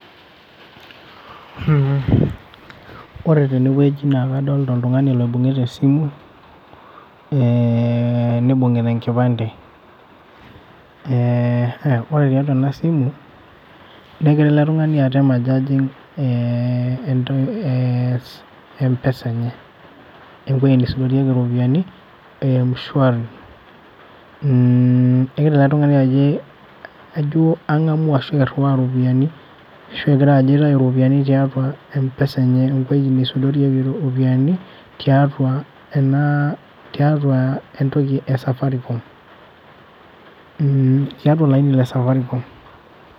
Mm ore tene wueji naa kadolita oltungani oibungita esimu, eh neibungita ekipande eh ore tiatua ena simu negira ele tung'ani atem ajo ajing eh empesa enye. Ewueei neisudorieki iropiyani eh mshwari. Egira ele tung'ani ajo angamu ashu eiriwaa iropiyani ashu egira ajo aitayu iropiyani tiatua eempesa enye. Ewueei neisudorieki iropiyani tiatua ena tiatua etoki esafaricom. Mm tiatua olaini lesafaricom.